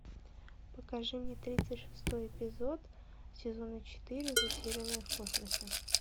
покажи мне тридцать шестой эпизод сезона четыре затерянные в космосе